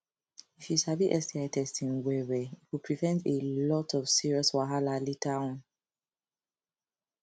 if u sabi sti testing well well e go prevent a lot of serious wahala later on